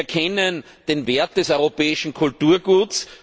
Wir kennen den Wert des europäischen Kulturguts.